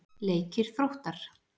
Leikir Þróttar